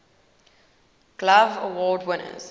glove award winners